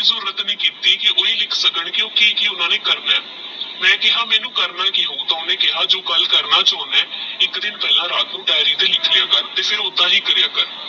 ਜ਼ੁਰਾਰਟ ਨਹੀ ਕੀਤੀ ਕੀ ਓਹੀ ਲਿਖ ਸਕਣ ਕੀ ਕੀ ਕੀ ਓਹਨਾ ਨੇ ਕਰਨਾ ਆਹ ਮੈ ਕੇਹਾ ਮੈਨੂ ਕਰਨਾ ਕੀ ਓਹਨੇ ਕੇਹਾ ਕਿਮੋਹ ਜੋ ਤੂ ਕਰਨਾ ਚੁਣਦਾ ਆਹ ਏਕ ਦਿਨ ਪਹਲਾਲ ਰਾਤ ਨੂ ਦਿਆਰੀ ਤੇਹ ਲਿਖ ਲੀਯਾ ਕਰ ਤੇਹ ਫਿਰ ਓਹ੍ਨ੍ਦਾ ਹੀ ਕਾਰ੍ਯ ਕਰ